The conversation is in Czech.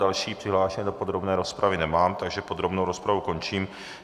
Další přihlášené do podrobné rozpravy nemám, takže podrobnou rozpravu končím.